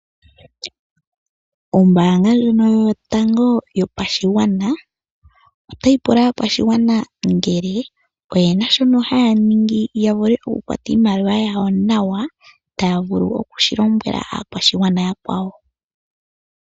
Ombanga ndjoka yotango yo pashigwana, otayi pula aakwashigwana ngele oyena shoka haya ningi ya vule oku kwata iimaliwa yawo nawa, taya vulu oku shi lombwela aakwashigwana oya kwawo.